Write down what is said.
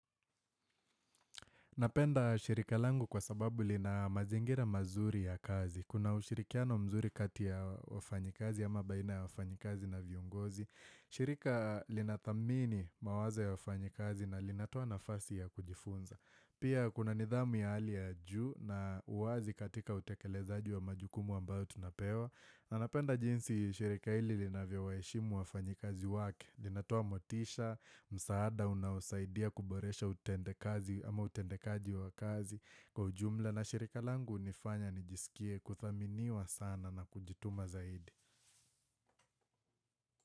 Napenda shirika langu kwa sababu lina mazingira mazuri ya kazi. Kuna ushirikiano mzuri kati ya wafanyikazi ama baina ya wafanyikazi na viongozi. Shirika linathamini mawazo ya wafanyikazi na linatoa nafasi ya kujifunza. Pia kuna nidhamu ya hali ya juu na uwazi katika utekelezaji wa majukumu ambayo tunapewa. Na napenda jinsi shirika hili linavyo waheshimu wafanyikazi wake linatoa motisha, msaada unaowasaidia kuboresha utendekazi ama utendekaji wa kazi Kwa ujumla na shirika langu hunifanya nijisikie kuthaminiwa sana na kujituma zaidi.